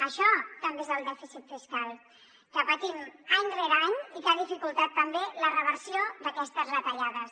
això també és el dèficit fiscal que patim any rere any i que ha dificultat també la reversió d’aquestes retallades